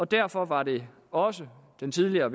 derfor var det også den tidligere